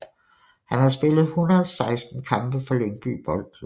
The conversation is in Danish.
Han har spillet 116 kampe for Lyngby Boldklub